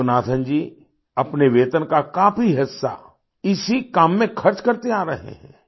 योगनाथन जी अपने वेतन का काफी हिस्सा इसी काम में खर्च करते आ रहे हैं